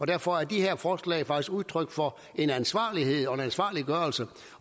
derfor er de her forslag faktisk udtryk for en ansvarlighed og ansvarliggørelse